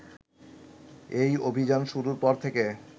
এই অভিযান শুরুর পর থেকে